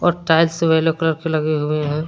और टाइल्स सब yellow colour के लगे हुए हैं।